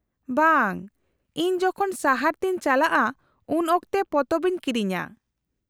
-ᱵᱟᱝ, ᱤᱧ ᱡᱚᱠᱷᱚᱱ ᱥᱟᱦᱟᱨ ᱛᱮᱧ ᱪᱟᱞᱟᱜᱼᱟ ᱩᱱ ᱚᱠᱛᱮ ᱯᱚᱛᱚᱵ ᱤᱧ ᱠᱤᱨᱤᱧᱟ ᱾